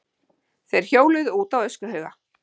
Þeir hjóluðu út á öskuhauga.